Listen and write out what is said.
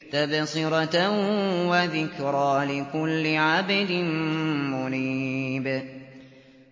تَبْصِرَةً وَذِكْرَىٰ لِكُلِّ عَبْدٍ مُّنِيبٍ